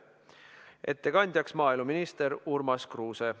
Ettekandja on maaeluminister Urmas Kruuse.